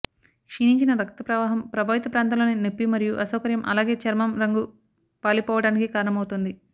క్షీణించిన రక్త ప్రవాహం ప్రభావిత ప్రాంతంలోని నొప్పి మరియు అసౌకర్యం అలాగే చర్మం రంగు పాలిపోవడానికి కారణమవుతుంది